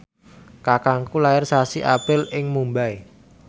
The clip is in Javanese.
kakangku lair sasi April ing Mumbai